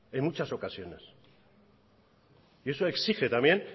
en muchas ocasiones y eso exige también